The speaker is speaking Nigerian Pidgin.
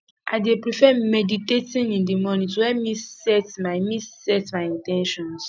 i dey prefer meditating in the morning to help me set my me set my in ten tions